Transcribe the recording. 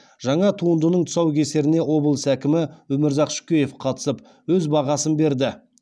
жаңа туындының тұсаукесеріне облыс әкімі өмірзақ шөкеев қатысып өз бағасын берді